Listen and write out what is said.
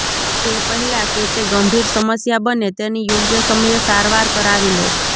તે પહેલા કે તે ગંભીર સમસ્યા બને તેની યોગ્ય સમયે સારવાર કરાવી લો